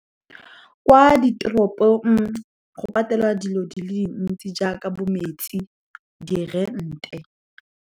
Kwa ditoropong, go patelwa dilo di le dintsi jaaka bo metsi, di-rent-e.